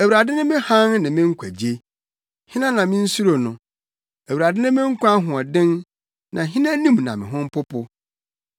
Awurade ne me hann ne me nkwagye; hena na minsuro no? Awurade ne me nkwa ahoɔden, na hena anim na me ho mpopo?